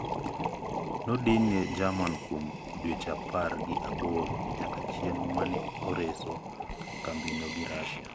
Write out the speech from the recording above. Nodin ne Jerman kuom dweche apar gi aboro nyaka chieng` mane orese kambino gi Russia.